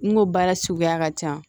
N go baara suguya ka ca